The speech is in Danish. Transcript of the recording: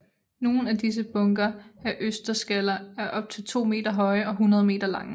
Nogle af disse bunker af østersskaller er op til to meter høje og 100 meter lange